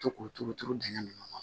To k'o turu turu dingɛn nun kɔnɔ